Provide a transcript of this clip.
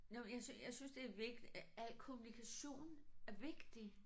Nåh jeg jeg synes det er al kommunikation er vigtig